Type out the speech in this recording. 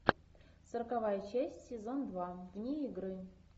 сороковая часть сезон два вне игры